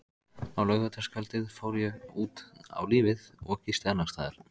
Á laugardagskvöldið fór ég út á lífið og gisti annarsstaðar.